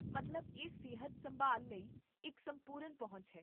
ਮਤਲਬ ਇਹ ਸਿਹਤ ਸੰਭਾਲ ਲਈ ਇੱਕ ਸੰਪੂਰਨ ਪਹੁੰਚ ਹੈ